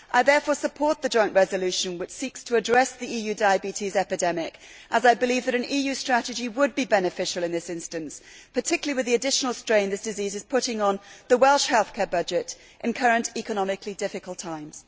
I therefore support the joint resolution which seeks to address the EU diabetes epidemic as I believe that an EU strategy would be beneficial in this instance, particularly with the additional strain this disease is putting on the Welsh healthcare budget in current economically difficult times.